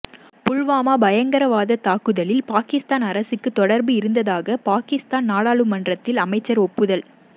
புல்வாமா பயங்கரவாத தாக்குதலில் பாகிஸ்தான் அரசுக்கு தொடர்பு இருந்ததாக பாகிஸ்தான் நாடாளுமன்றத்தில் அமைச்சர் ஒப்புதல்